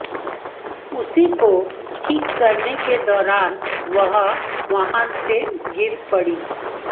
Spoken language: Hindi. उसी को ठीक करने के दौरान वह वाहन से गिर पड़ी